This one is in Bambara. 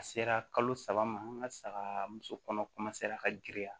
A sera kalo saba ma an ka saga muso kɔnɔ ka giriya